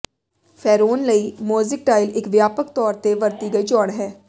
ਫੈਰੋਨ ਲਈ mosaic tile ਇਕ ਵਿਆਪਕ ਤੌਰ ਤੇ ਵਰਤੀ ਗਈ ਚੋਣ ਹੈ